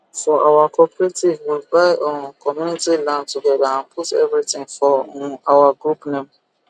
for our cooperative we buy um community land togeda and put everytin for um our group name